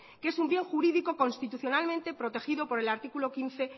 que es un bien jurídico constitucionalmente protegido por el artículo quince